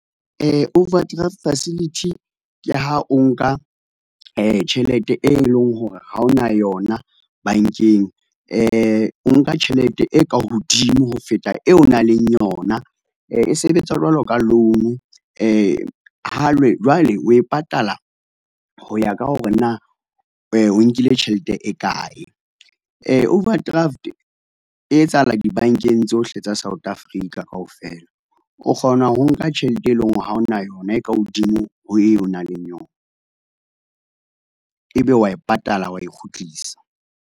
Overdraft facility ke ha o nka tjhelete, e leng hore ha ona yona bankeng e o nka tjhelete e ka hodimo ho feta eo nang le yona. E sebetsa jwalo ka loan ho le jwale o e patala ho ya ka hore na o nkile tjhelete e kae. Overdraft e etsahala dibankeng tsohle tsa South Africa kaofela. O kgona ho nka tjhelete e leng hore ha ona yona e ka hodimo ho eo o nang le yona, ebe wa e patala, wa e kgutlisa.